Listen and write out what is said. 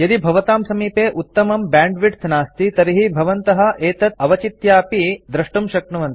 यदि भवतां समीपे उत्तमं बैंडविड्थ नास्ति तर्हि भवन्तः एतत् अवचित्यापि डाउनलोड द्रष्टुं शक्नुवन्ति